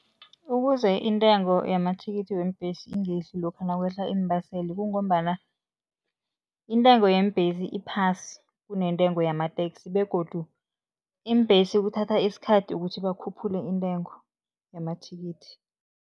Ukuze intengo yamathikithi weembhesi ingehli lokha nakwehla iimbaseli kungombana intengo yeembhesi iphasi, kunentengo yamateksi begodu iimbhesi kuthatha isikhathi ukuthi bakhuphule intengo yamathikithi.